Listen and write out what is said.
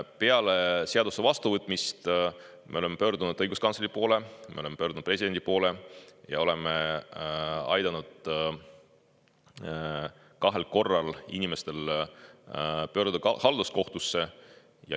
Peale seaduse vastuvõtmist me oleme pöördunud õiguskantsleri poole, me oleme pöördunud presidendi poole ja oleme aidanud kahel korral inimestel pöörduda halduskohtusse.